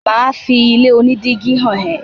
mà á fi ilé onídígí hàn ẹ́.